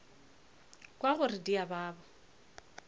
kwa gore di a baba